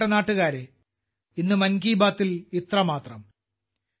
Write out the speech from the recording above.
എന്റെ പ്രിയപ്പെട്ട നാട്ടുകാരേ ഇന്ന് മൻ കി ബാത്തിൽ ഇത്രമാത്രം